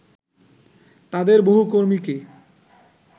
তাদের বহু কর্মীকে